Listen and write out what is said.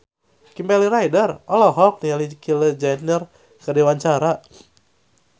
Kimberly Ryder olohok ningali Kylie Jenner keur diwawancara